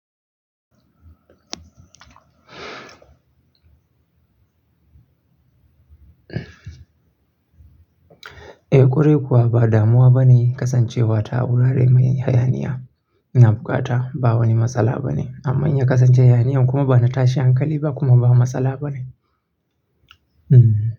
Eh ƙwarai kuwa ba damuwa bane kasancewa ta a wurare mai hayaniya. Ina bukata ba wani matsala bane. Amma in ya kasance hayaniya kuma bana tashi hankali ba kuma ba matsala bane. Hmm.